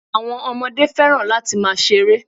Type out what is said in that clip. Àwọn Ọmọdé fẹ́ràn láti máa ṣeré